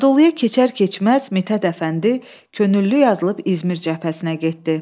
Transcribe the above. Anadoluya keçər-keçməz Mithət Əfəndi könüllü yazılıb İzmir cəbhəsinə getdi.